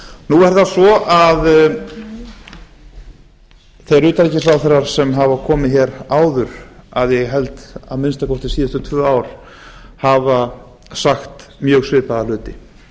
nú er það svo að þeir utanríkisráðherrar sem hafa komið hér áður að ég held að minnsta kosti síðustu tvö ár hafa sagt mjög svipaða hluti